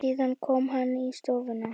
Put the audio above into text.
Síðan kom hann í stofuna.